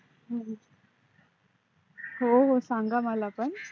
हम्म हो हो सांगा मला पण